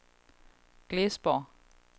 Glesborg